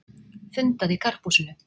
Fundað í Karphúsinu